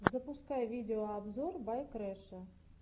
запускай видеообзор бай крэша